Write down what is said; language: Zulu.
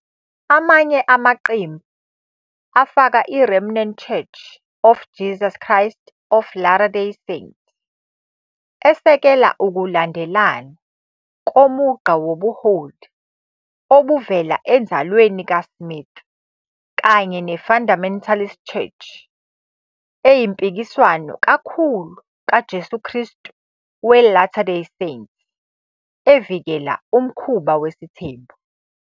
Amanye amaqembu afaka iRemnant Church of Jesus Christ of Latter Day Saints, esekela ukulandelana komugqa kobuholi obuvela enzalweni kaSmith, kanye ne-Fundamentalist Church eyimpikiswano kakhulu kaJesu Kristu we-Latter-Day Saints, evikela umkhuba wesithembu.